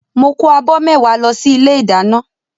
Mo kó abọ́ mẹ́wàá lọ sí ilé ìdáná